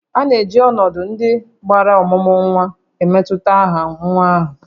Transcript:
A na-eji ọnọdụ ndị gbara ọmụmụ nwa emetụta aha nwa ahụ